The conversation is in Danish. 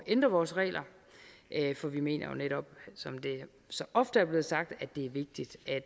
ændre vores regler for vi mener jo netop som det så ofte er blevet sagt at det er vigtigt at